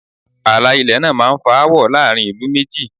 Ààlà ilẹ̀ náà máá ń fa áwọ̀ láàrin ìlú méjì